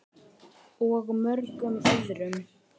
Og mörgum öðrum.